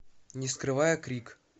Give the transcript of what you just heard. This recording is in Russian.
не скрывая крик